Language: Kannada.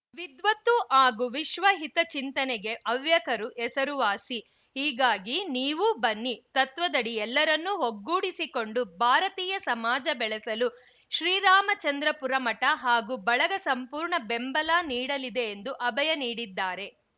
ವಿದ್ವತ್ತು ಹಾಗೂ ವಿಶ್ವಹಿತ ಚಿಂತನೆಗೆ ಹವ್ಯಕರು ಹೆಸರುವಾಸಿ ಹೀಗಾಗಿ ನೀವೂ ಬನ್ನಿ ತತ್ವದಡಿ ಎಲ್ಲರನ್ನೂ ಒಗ್ಗೂಡಿಸಿಕೊಂಡು ಭಾರತೀಯ ಸಮಾಜ ಬೆಳೆಸಲು ಶ್ರೀರಾಮಚಂದ್ರಾಪುರ ಮಠ ಹಾಗೂ ಬಳಗ ಸಂಪೂರ್ಣ ಬೆಂಬಲ ನೀಡಲಿದೆ ಎಂದು ಅಭಯ ನೀಡಿದ್ದಾರೆ